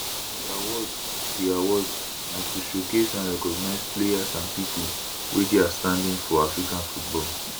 di awards di awards na to showcase and recognise players and pipo wey dey outstanding for african football